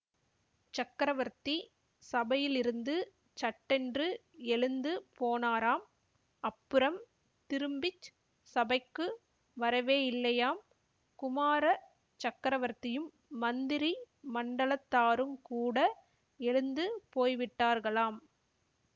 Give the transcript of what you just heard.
சக்கரவர்த்தி சபையிலிருந்து சட்டென்று எழுந்து போனாராம் அப்புறம் திரும்பி சபைக்கு வரவேயில்லையாம் குமார சக்கரவர்த்தியும் மந்திரி மண்டலத்தாருங்கூட எழுந்து போய்விட்டார்களாம்